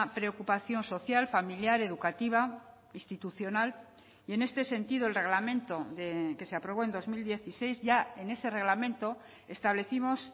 preocupación social familiar educativa institucional y en este sentido el reglamento que se aprobó en dos mil dieciséis ya en ese reglamento establecimos